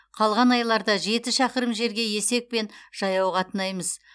қалған айларда жеті шақырым жерге есекпен жаяу қатынаймыз